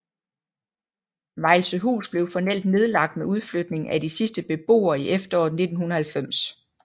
Vejlsøhus blev formelt nedlagt med udflytningen af de sidste beboere i efteråret 1990